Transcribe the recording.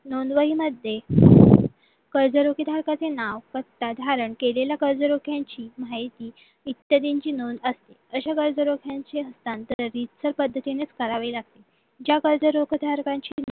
नोंदवही मध्ये कर्ज धारकांचे नाव पत्ता धारण केलेल्या केलेल्यांची कर्जरोख्यांची इत्यादींची नोंद असते अशा कर्जरोख्यांची तांत्रिक पद्धतीनेच करावी लागते ज्या कर्जरोखे धारकांची